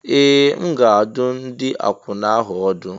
Ee! M ga-adụ ndị akwụna ahụ ọdụ.